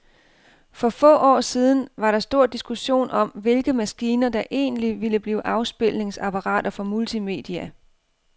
For få år siden var der stor diskussion om, hvilke maskiner, der egentlig ville blive afspilningsapparater for multimedia.